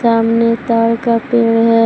सामने ताड़ का पेड़ है।